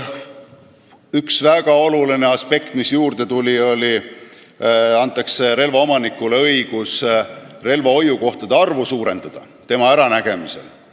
Üks väga oluline aspekt, mis juurde tuli, on see, et relvaomanikule antakse õigus suurendada relvahoiukohtade arvu oma äranägemise järgi.